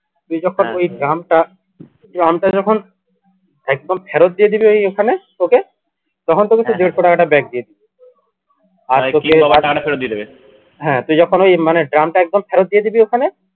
তুই যখন ওই drum টা drum টা যখন একদম ফেরত দিয়ে দিবি ওই ওখানে ওকে তখন তোকে তোর দেড়শো টাকাটা back দিয়ে দিবে হ্যা তুই যখন ওই মানে drum টা একদম ফেরত দিয়ে দিবি ওখানে